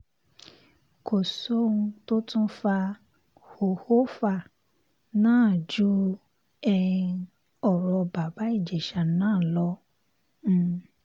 kò sóhun tó tún fa hòhófà náà ju um ọ̀rọ̀ bàbá ìjèṣà náà lọ um